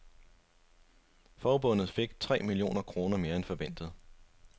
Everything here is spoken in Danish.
Forbundet fik tre millioner kroner mere end forventet.